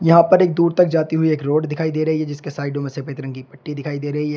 यहां पर एक दूर तक जाती हुई एक रोड दिखाई दे रही है जिसके साइडों में सफेद रंग की पट्टी दिखाई दे रही है।